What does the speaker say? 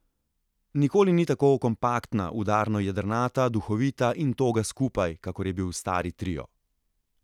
Nikoli ni tako kompaktna, udarno jedrnata, duhovita in toga skupaj, kakor je bil stari trio.